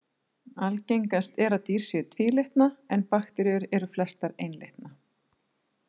Algengast er að dýr séu tvílitna en bakteríur eru flestar einlitna.